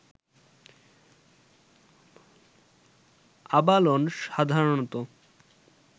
abalone সাধারণত